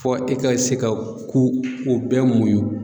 Fɔ e ka se ka ko o bɛɛ muɲun.